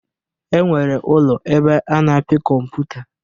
E nwere ụlọ ebe a na-apị kọmputa.